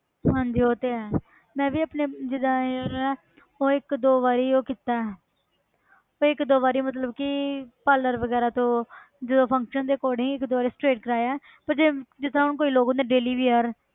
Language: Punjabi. ਹਾਂਜੀ ਉਹ ਤੇ ਹੈ ਮੈਂ ਵੀ ਆਪਣੇ ਜਿੱਦਾਂ hair ਹੈ ਉਹ ਇੱਕ ਦੋ ਵਾਰੀ ਉਹ ਕੀਤਾ ਹੈ ਉਹ ਇੱਕ ਦੋ ਵਾਰੀ ਮਤਲਬ ਕਿ parlour ਵਗ਼ੈਰਾ ਤੋਂ ਜਦੋਂ function ਦੇ according ਇੱਕ ਦੋ ਵਾਰੀ straight ਕਰਵਾਏ ਹੈ ਪਰ ਜੇ ਜਿਸ ਤਰ੍ਹਾਂ ਹੁਣ ਕਈ ਲੋਕ ਹੁੰਦੇ daily ਵੀ ਯਾਰ